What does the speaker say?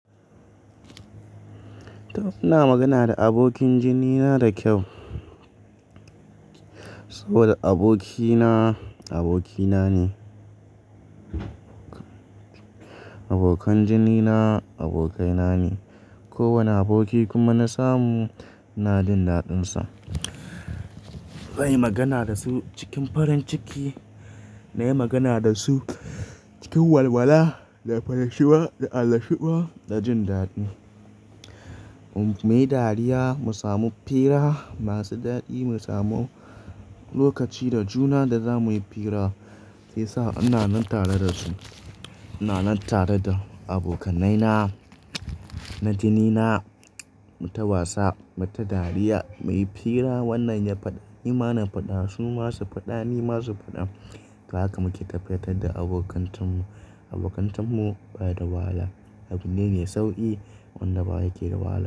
Taf ina magana da abokin jinina da kyau. Saboda abokina, abokina ne. Abokan jinina, abokaina ne. Ko wane aboki kuma na samu, ina jin daɗinsa. Zan yi magana da su cikin farin ciki, na yi magana da su cikin walwala, da farashuwa, da anashuwa, da jin daɗi. Mu, muyi dariya, mu samu fira masu daɗi, mu samu lokaci da juna da za muyi fira, sai sa ina nan tare da su. Ina nan tare da abokainaina, na jinina, mu ta wasa, mu ta dariya, muyi fira. Wannan ya faɗa, ni ma na faɗa, su ma su faɗa, ni ma su faɗa. To haka muke tafiyantar da abokantanmu, abokantanmu baya da wahala. Abune me sauƙi, wanda baya ke da wahala.